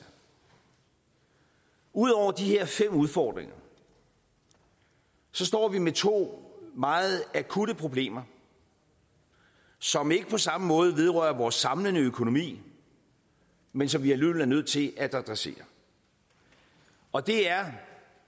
ud over de her fem udfordringer står vi med to meget akutte problemer som ikke på samme måde vedrører vores samlede økonomi men som vi alligevel er nødt til at adressere og det